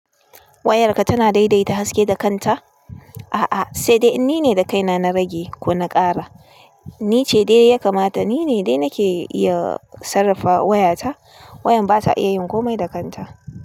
Wayarka tana daidaita haske da kanta? A'a, sai dai ni ne da kaina na rage ko na ƙara. Ni ce dai ya kamata ni ne dai nake iya sarrafa wayata, wayam ba ta iya yin komai da kanta.